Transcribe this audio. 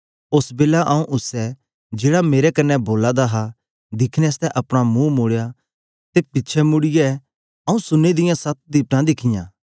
ओस बेलै आऊँ उसै जेहड़ा मेरे कन्ने बोला दा हा दिखने आसतै अपना मुंह मोड़ेया ते पिछें मुड़ीयै आऊँ सुन्ने दियां सत दीवटा दिखियां